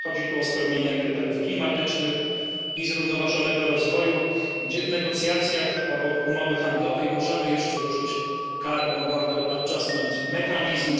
Chodzi tu o spełnianie kryteriów klimatycznych i zrównoważonego rozwoju, gdzie w negocjacjach, obok umowy handlowej, możemy jeszcze użyć carbon border adjustment mechanism.